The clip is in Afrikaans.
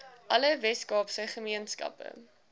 alle weskaapse gemeenskappe